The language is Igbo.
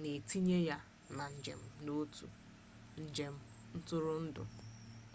na-etinye ya na njem n'otu njem ntụrụndụ